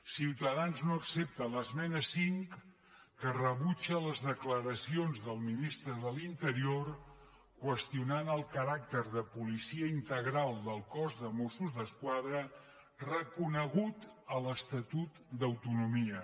ciutadans no accepta l’esmena cinc que rebutja les declaracions del ministre de l’interior que qüestionen el caràcter de policia integral del cos de mossos d’esquadra reconegut a l’estatut d’autonomia